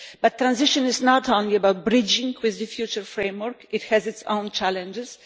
But transition is not only about bridging with the future framework it has its own challenges.